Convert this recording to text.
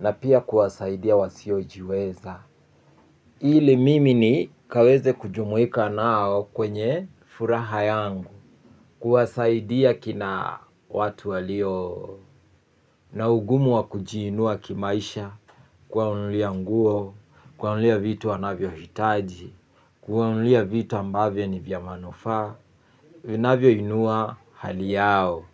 na pia kuwasaidia wasiojiweza. Ili mimi ni kaweze kujumuika nao kwenye furaha yangu kuwasaidia kina watu walio na ugumu wa kujiinua kimaisha kuwa nunulia nguo, kuwa nunulia vitu wanavyo hitaji, kuwa nunulia vitu ambavyo ni vya manufaa, vinavyo inua hali yao.